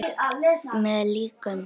Með líkum!